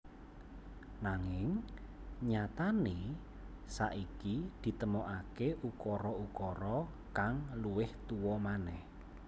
Nanging nyatané saiki ditemokaké ukara ukara kang luwih tuwa manèh